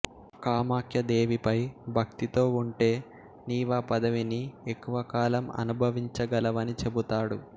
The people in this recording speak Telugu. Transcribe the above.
కామాఖ్యాదేవిపై భక్తితో ఉంటే నీవా పదవిని ఎక్కువ కాలం అనుభవించగలవని చెబుతాడు